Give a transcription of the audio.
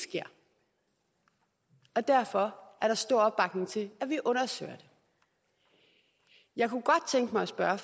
sker og derfor er der stor opbakning til at vi undersøger det jeg kunne godt tænke mig at spørge